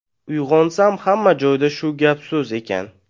Uyg‘onsam hamma joyda shu gap-so‘z ekan.